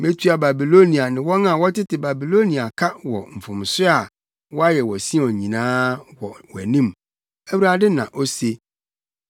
“Metua Babilonia ne wɔn a wɔtete Babilonia ka wɔ mfomso a, wɔayɛ wɔ Sion nyinaa, wɔ wʼanim,” Awurade na ose.